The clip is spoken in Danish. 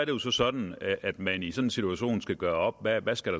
jo sådan at man i sådan en situation skal gøre op hvad der skal